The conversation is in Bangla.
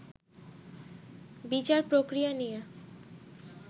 বিচার প্রক্রিয়া নিয়ে